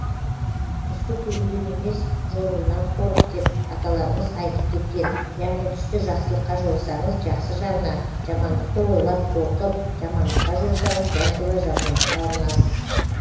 түсті көруден емес жоруынан қорық деп аталарымыз айтып кеткен яғни түсті жақсылыққа жорысаңыз жақсы жағына жамандықты ойлап қорқып жамандыққа жорысаңыз дәл солай жамандыққа ұрынасыз